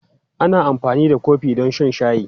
Ana amfani da kofi don shan shayi.